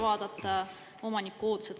… ümber vaadata omaniku ootused.